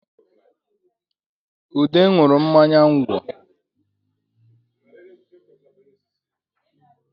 Ude nwụrụ mmanya ngwọ